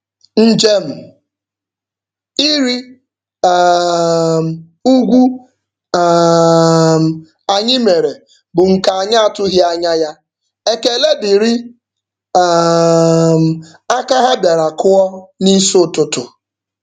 Njem ịrị um ugwu um anyị mere bụ nke anyị atụghị anya ya, ekele dịrị um aka ha bịara kụọ n'isi ụtụtụ.